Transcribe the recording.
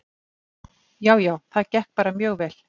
Já, já, það gekk bara mjög vel.